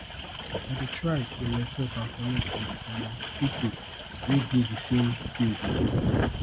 i dey try to network and connect with um people wey dey di same field with me